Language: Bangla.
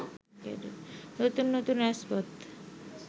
নতুন নতুন রাজপথ